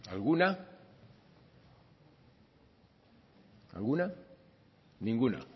alguna alguna ninguna